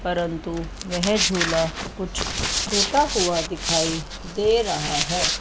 परंतु वहे झूला कुछ टूटा हुआ दिखाई दे रहा है।